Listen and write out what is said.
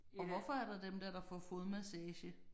Og hvorfor er der dem der der får fodmassage